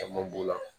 Caman b'o la